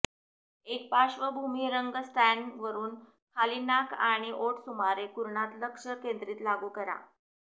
एक पार्श्वभूमी रंग स्टॅण्ड वरुन खाली नाक आणि ओठ सुमारे कुरणात लक्ष केंद्रित लागू करा